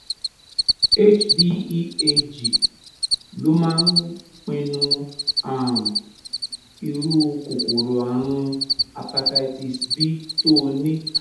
hbeag ló máa ń pinnu um irú kòkòrò ààrùn hepatitis b tó o ní